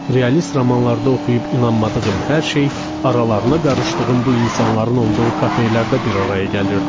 Realist romanlarda oxuyub inanmadığım hər şey aralarına qarışdığım bu insanların olduğu kafelərdə bir araya gəlirdi.